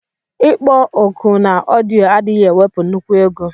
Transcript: Ikpọ oku na ọdiọ adighi ewepu nnukwu ego.